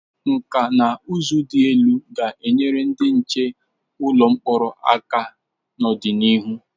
Nkà na ụzụ dị elu ga-enyere ndị nche ụlọ mkpọrọ aka n'ọdịnihu.